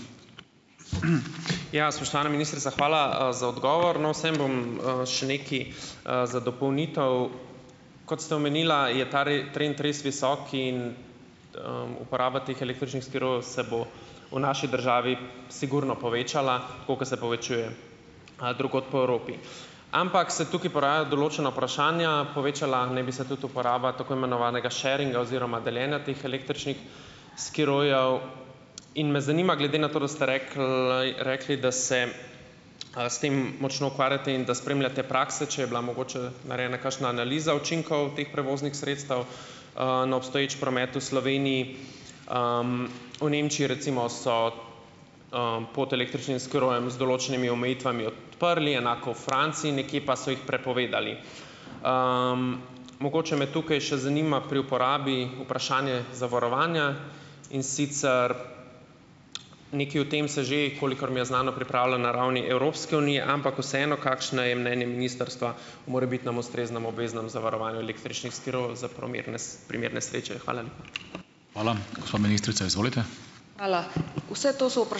Ja, spoštovana ministrica, hvala, za odgovor. No, vseeno bom, še nekaj, za dopolnitev, kot ste omenila je ta trend res visok in, uporaba teh električnih skirojev se bo v naši državi sigurno povečala, tako kot se povečuje, drugod po Evropi, ampak se tukaj porajajo določena vprašanja. Povečala naj bi se tudi uporaba tako imenovanega sharinga oziroma deljenja teh električnih skirojev in me zanima, glede na to, da ste rekli, rekli, da se, s tem močno ukvarjate in da spremljate prakse, če je bila mogoče narejena kakšna analiza učinkov teh prevoznih sredstev, na obstoječi promet v Sloveniji. V Nemčiji recimo so, pod električnim skirojem z določenimi omejitvami odprli, enako v Franciji, nekje pa so jih prepovedali. Mogoče me tukaj še zanima pri uporabi vprašanje zavarovanja in sicer nekaj o tem se že, kolikor mi je znano, pripravlja na ravni Evropske unije, ampak vseeno, kakšno je mnenje ministrstva o morebitnem ustreznem obveznem zavarovanju električnih skirojev za primer primer nesreče? Hvala lepa.